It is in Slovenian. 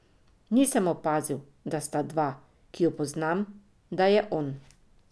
Nisem opazil, da sta dva, ki ju poznam, da je on.